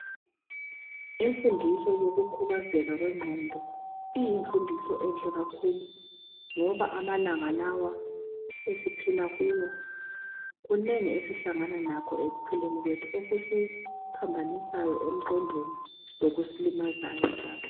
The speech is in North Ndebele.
Imfundiso yokukhubazeka kwengqondo iyimfundiso enhle kakhulu ngoba amalanga lawa esiphila kuwo kunengi esihlangana lakho ekuphileni kwethu okusiphambanisayo emqondweni lokusilimazayo njalo.